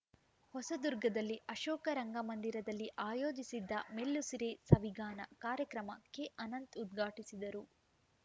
ಹೊಸದುರ್ಗದಲ್ಲಿ ಅಶೋಕ ರಂಗಮಂದಿರದಲ್ಲಿ ಆಯೋಜಿಸಿದ್ದ ಮೆಲ್ಲುಸಿರೆ ಸವಿಗಾನ ಕಾರ್ಯಕ್ರಮ ಕೆಅನಂತ್‌ ಉದ್ಘಾಟಿಸಿದರು